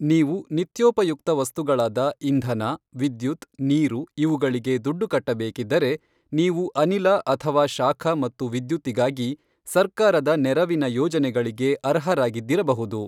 ನೀವು ನಿತ್ಯೋಪಯುಕ್ತ ವಸ್ತುಗಳಾದ ಇಂಧನ, ವಿದ್ಯುತ್, ನೀರು ಇವುಗಳಿಗೆ ದುಡ್ಡು ಕಟ್ಟಬೇಕಿದ್ದರೆ, ನೀವು ಅನಿಲ ಅಥವಾ ಶಾಖ ಮತ್ತು ವಿದ್ಯುತ್ತಿಗಾಗಿ ಸರ್ಕಾರದ ನೆರವಿನ ಯೋಜನೆಗಳಿಗೆ ಅರ್ಹರಾಗಿದ್ದಿರಬಹುದು.